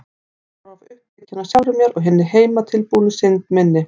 Ég var of upptekin af sjálfri mér og hinni heimatilbúnu synd minni.